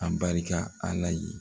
Abarika ala ye